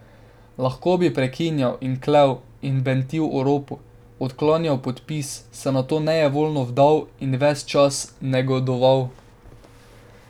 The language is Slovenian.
Lahko bi preklinjal in klel in bentil o ropu, odklanjal podpis, se nato nejevoljno vdal in ves čas negodoval.